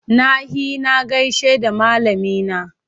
Na he na gaishe da malamina.